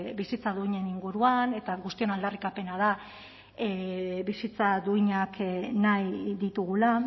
bizitza duinen inguruan eta guztion aldarrikapena da bizitza duinak nahi ditugula